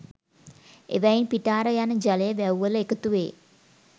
ඒවායින් පිටාර යන ජලය වැව්වලට එකතු වේ